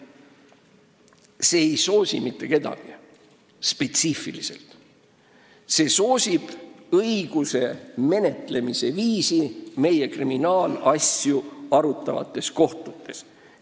See eelnõu ei soosi mitte kedagi spetsiifiliselt, see soosib õiguse menetlemise viisi meie kriminaalasju arutavates kohtutes.